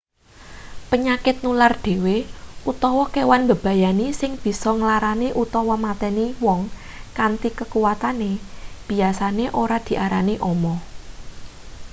penyakit nular dhewe utawa kewan mbebayani sing bisa nglarani utawa mateni wong kanthi kakuwatane biasane ora diarani omo